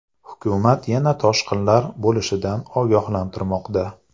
Hukumat yana toshqinlar bo‘lishidan ogohlantirmoqda.